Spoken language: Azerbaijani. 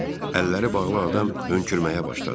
deyə əlləri bağlı adam hönkürməyə başladı.